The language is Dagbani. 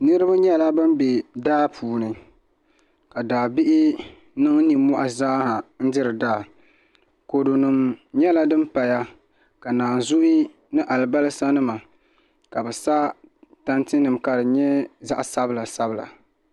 Niraba nyɛla bin bɛ daa puuni ka daa bihi niŋ nimmohi zaaha n diri daa kodu nim nyɛla din paya ka naanzuhi ni alibarisa nima ka bi sa tanti nim ka di nyɛ zaɣ sabila sabila